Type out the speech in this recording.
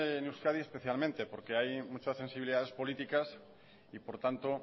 en euskadi especialmente porque hay muchas sensibilidades políticas y por tanto